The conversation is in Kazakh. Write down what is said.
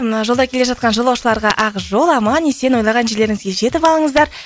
мына жолда келе жатқан жолаушыларға ақ жол аман есен ойлаған жерлеріңізге жетіп алыңыздар